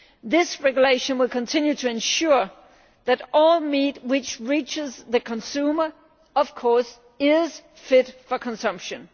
This regulation will continue to ensure that all meat which reaches the consumer is of course fit for consumption.